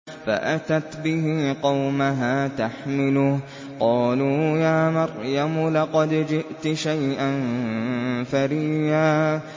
فَأَتَتْ بِهِ قَوْمَهَا تَحْمِلُهُ ۖ قَالُوا يَا مَرْيَمُ لَقَدْ جِئْتِ شَيْئًا فَرِيًّا